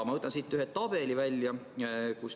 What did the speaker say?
Ma võtan siit ühe tabeli välja.